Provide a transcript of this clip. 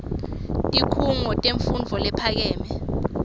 tikhungo temfundvo lephakeme